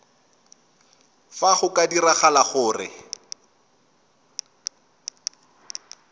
fa go ka diragala gore